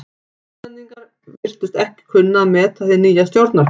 Íslendingar virtust ekki kunna að meta hið nýja stjórnarfar.